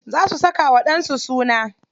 Za su saka wa ɗan su suna.